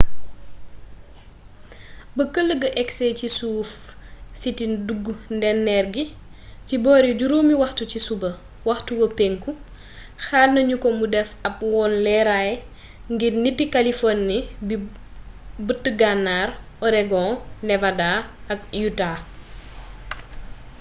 ba kël ga agsee ci suuf sit e dug ndéneer gi ci boori juróomi waxtu ci suba waxtu wa penku xaar nanu ko mu def ab wone leraay ngir niti kaliforni bi bët gannaar oregon nevada ak utah